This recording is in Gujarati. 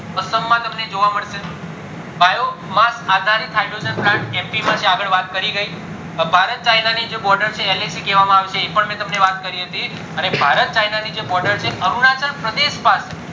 અસમ માં જોવા મળશે biomass આધારિત hydrogen plant એમપી માં છે આગળ વાત કરી ગય હવે ભારત ચાઈના જે border છે એને છે એને એને એ પણ તમને વાત કરી હતી અને ભારત ચાઈના ની જે border છે એ અરુણાચલ પ્રદેશ માં છે